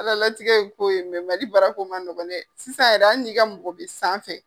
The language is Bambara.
Ala latigɛ ye ko ye, Mali baara ko ma nɔgɔ dɛ. Sisan yɛrɛ hali n'i ka mɔgɔ bi sanfɛ.